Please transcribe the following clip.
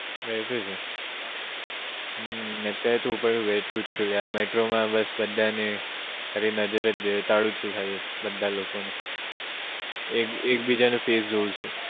બેઠો છું હમ અત્યારે તો બેઠો જ છું metro માં બસ બધાને ખાલી નજર એ તાડુ છું ખાલી બધાં લોકો ને એક બીજા નું face જોઉં છું